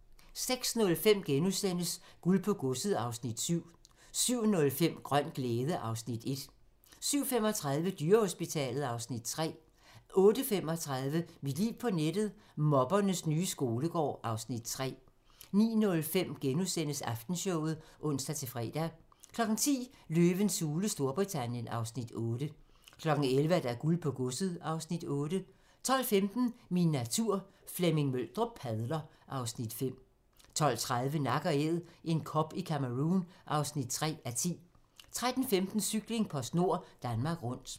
06:05: Guld på godset (Afs. 7)* 07:05: Grøn glæde (Afs. 1) 07:35: Dyrehospitalet (Afs. 3) 08:35: Mit liv på nettet: Mobbernes nye skolegård (Afs. 3) 09:05: Aftenshowet *(ons-fre) 10:00: Løvens hule Storbritannien (Afs. 8) 11:00: Guld på godset (Afs. 8) 12:15: Min natur - Flemming Møldrup padler (Afs. 5) 12:30: Nak & Æd - en kob i Cameroun (3:10) 13:15: Cykling: PostNord Danmark Rundt